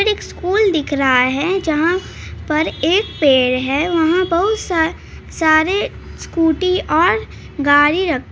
एक स्कूल दिख रहे हैं जहाँ पर एक पेड़ है वहाँ बहुत स-सारे स्कूटी और गाड़ी रह --